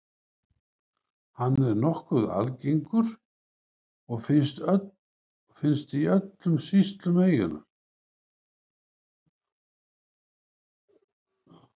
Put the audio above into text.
Hann er nokkuð algengur og finnst í öllum sýslum eyjunnar.